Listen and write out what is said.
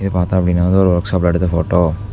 இது பார்த்தோ அப்டினா வந்து ஒரு ஒர்க்ஷாப்பில எடுத்த போட்டோ .